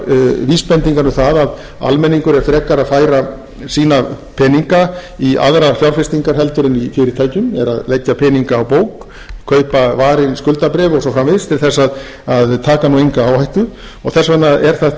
líka vísbendingar um að almenningur er frekar að færa sína peninga í aðrar fjárfestingar heldur en í fyrirtæki eru að leggja peninga á bók kaupa varin skuldabréf og svo framvegis til þess að taka nú enga áhættu þess vegna er þetta hluti af